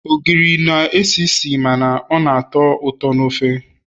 ogiri na-esi isi mana ọ na-atọ ụtọ na ofe